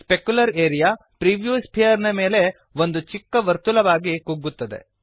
specular area preview sphere ನ ಮೇಲೆ ಒಂದು ಚಿಕ್ಕ ವರ್ತುಲವಾಗಿ ಕುಗ್ಗುತ್ತದೆ